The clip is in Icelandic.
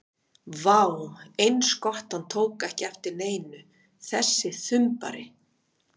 Vá, eins gott að hann tók ekki eftir neinu, þessi þumbari!